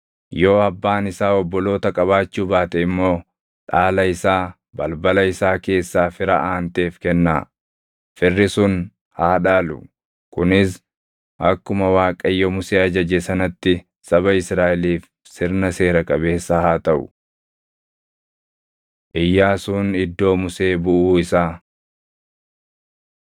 Yoo abbaan isaa obboloota qabaachuu baate immoo dhaala isaa balbala isaa keessaa fira aanteef kennaa; firri sun haa dhaalu. Kunis akkuma Waaqayyo Musee ajaje sanatti saba Israaʼeliif sirna seera qabeessa haa taʼu.’ ” Iyyaasuun Iddoo Musee Buʼuu Isaa